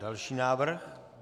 Další návrh.